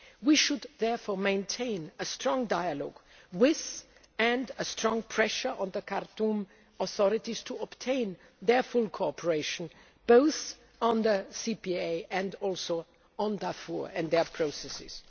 We should therefore maintain a strong dialogue with, and a strong pressure on, the Khartoum authorities to obtain their full cooperation, both on the CPA and also on Darfur and their processes.